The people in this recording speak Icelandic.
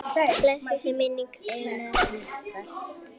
Blessuð sé minning Einars Mýrdal.